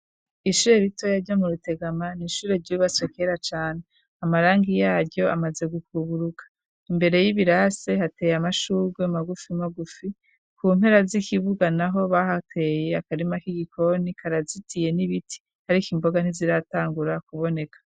ishure rito yajya mu rutegama n'ishure ry'ubibaswe kera cane amarangi yaryo amaze gukuburuka imbere y'ibirase hateye amashurwe magufi magufi ku mpera z'ikibuga naho bahateye akarima k'igikoni karazitiye n'ibiti ariko imboga ntiziratangura kuboneka